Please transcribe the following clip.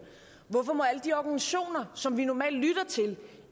hvorfor må alle de organisationer som vi normalt lytter til